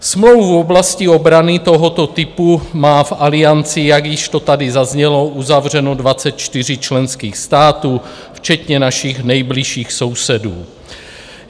Smlouvu v oblasti obrany tohoto typu má v Alianci, jak již to tady zaznělo, uzavřenou 24 členských států včetně našich nejbližších sousedů.